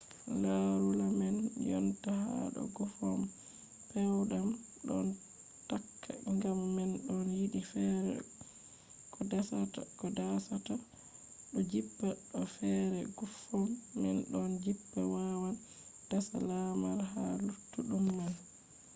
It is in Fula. larula man jonta ha do guffom pewɗam ɗon takka ngam man ɗo yiɗi feere ko dasata ɗo jippa bo feere guffom man ɗon jippa wawan dasa lamar ha luttuɗum man